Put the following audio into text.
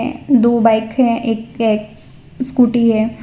दो बाइक हैं एक एक स्कूटी है।